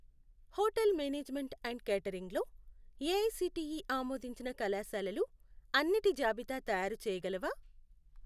Hotel management and catering లో AICTE ఆమోదించిన కళాశాలలు అన్నిటి జాబితా తయారుచేయగలవా?